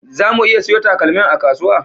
Zamu iya siyo takalmin a kasuwa?